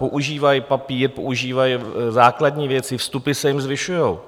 Používají papír, používají základní věci, vstupy se jim zvyšují.